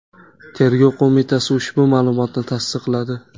Tergov qo‘mitasi ushbu ma’lumotni tasdiqladi.